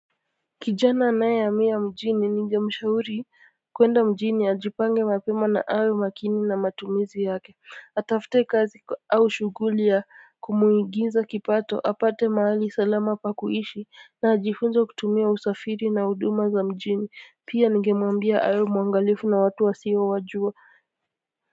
Kijana anayehamia mjini ningemshauri kuenda mjini ajipange mapema na awe makini na matumizi yake atafute kazi au shughuli ya kumuingiza kipato apate mahali salama pa kuishi na ajifunze kutumia usafiri na huduma za mjini pia ningemwambia awe mwangalifu na watu wasiowajua.